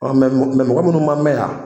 mɔgɔ munnu man mɛn yan